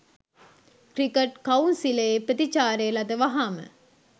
cricket කවුන්සිලයේ ප්‍රතිචාරය ලද වහාම